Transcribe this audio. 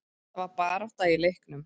Það var barátta í leiknum.